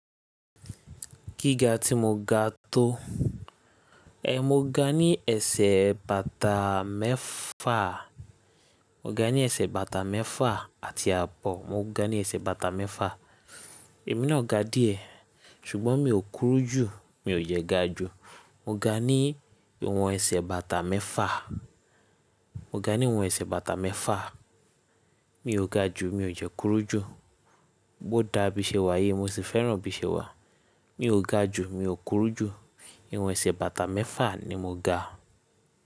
Gíga tí mo ga tó, eh mo ga ní ẹsẹ̀ bàtà mẹ́fà, mo ga ní ẹsẹ̀ bàtà mẹ́fà àti àbọ̀. Mo ga ní ẹsẹ̀ bàtà mẹ́fà, èmi náà ga díẹ̀ ṣùgbọ́n mi ò kúrú jù, mi ò dẹ́ ga jù. Mo ga ní ìwọ̀n ẹsẹ̀ bàtà mẹ́fà, mo ga ní ìwọ̀n ẹsẹ̀ bàtà mẹ́fà, mi ò ga jù, mi ò de kúrú jù. O dàa bí ṣe wà yi, mo sì fẹ́ràn bí i ṣe wà. Mi ò ga jù, mi ò kúrú jù. Ìwọ̀n ẹsẹ̀ bàtà mẹ́fà ni mo ga.